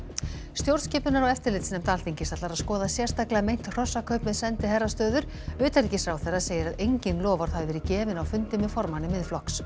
stjórnskipunar og eftirlitsnefnd Alþingis ætlar að skoða sérstaklega meint hrossakaup með sendiherrastöður utanríkisráðherra segir að engin loforð hafi verið gefin á fundi með formanni Miðflokks